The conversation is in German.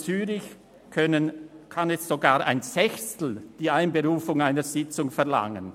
Zürich kann sogar ein Sechstel die Einberufung einer Sitzung verlangen.